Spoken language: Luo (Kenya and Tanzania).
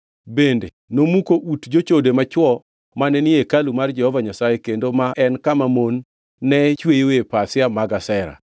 Bende nomuko ut jochode machwo mane ni e hekalu mar Jehova Nyasaye kendo ma en kama mon ne chweyoe pasia mag Ashera.